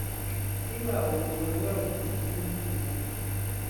nígbà wo ni ọlọrun kò ní í mú gbogbo wọn